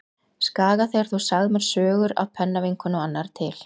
Skaga þegar þú sagðir mér sögur af pennavinkonu og annarri til.